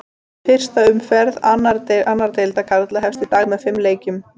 Fyrsta umferð annar deildar karla hefst í dag með fimm leikjum.